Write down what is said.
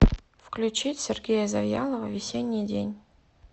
включить сергея завьялова весенний день